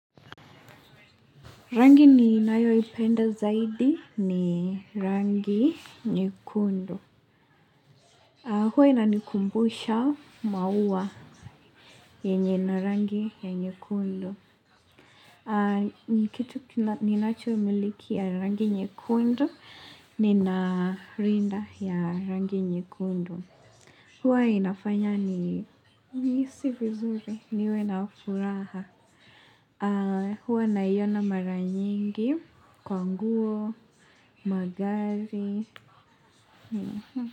Rangi ninayoipenda zaidi ni rangi nyekundu. Huwa inanikumbusha maua yenye na rangi ya nyekundu. Kitu ninacho miliki ya rangi nyekundu, nina rinda ya rangi nyekundu. Huwa inafanya ni, nihisi vizuri niwe na furaha. Huwa naiona mara nyingi kwa nguo, magari.